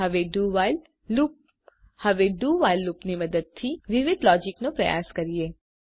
હવે do while લુપની મદદથી વિવિધ લોજીકનો પ્રયાસ કરીએ